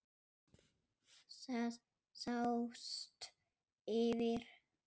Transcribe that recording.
Það sást yfir